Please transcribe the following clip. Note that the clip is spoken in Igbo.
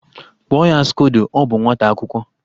Kpụọ ya skodo, ọ bụ nwata akwụkwọ!